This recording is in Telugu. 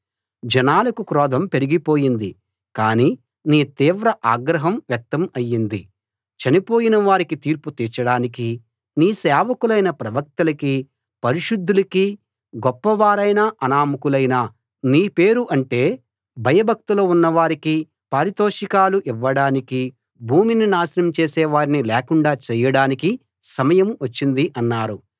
జనాలకు క్రోధం పెరిగిపోయింది కాని నీ తీవ్ర ఆగ్రహం వ్యక్తం అయింది చనిపోయిన వారికి తీర్పు తీర్చడానికీ నీ సేవకులైన ప్రవక్తలకీ పరిశుద్ధులకీ గొప్పవారైనా అనామకులైనా నీ పేరు అంటే భయభక్తులు ఉన్న వారికి పారితోషికాలు ఇవ్వడానికీ భూమిని నాశనం చేసే వారిని లేకుండా చేయడానికీ సమయం వచ్చింది అన్నారు